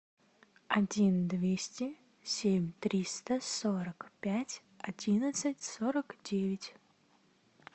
один двести семь триста сорок пять одиннадцать сорок девять